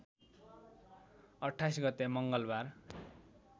२८ गते मङ्गलबार